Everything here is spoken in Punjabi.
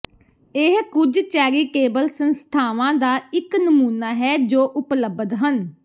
ਇਹ ਕੁਝ ਚੈਰੀਟੇਬਲ ਸੰਸਥਾਵਾਂ ਦਾ ਇੱਕ ਨਮੂਨਾ ਹੈ ਜੋ ਉਪਲਬਧ ਹਨ